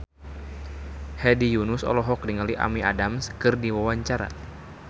Hedi Yunus olohok ningali Amy Adams keur diwawancara